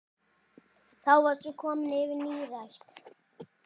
Þá varstu komin yfir nírætt.